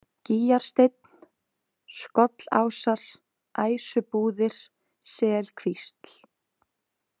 Gýgjarsteinn, Skollásar, Æsubúðir, Selkvísl